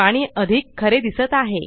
पाणी अधिक खरे दिसत आहे